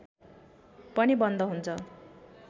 पनि बन्द हुन्छ